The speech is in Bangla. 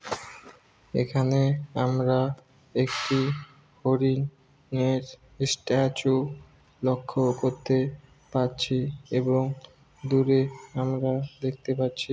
এখানে আমরা একটি হরিণ এর ইস্ট্যাচু লক্ষ্য করতে পারছি এবং দূরে আমরা দেখতে পাচ্ছি।